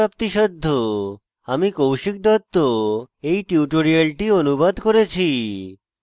আমি কৌশিক দত্ত এই টিউটোরিয়ালটি অনুবাদ করেছি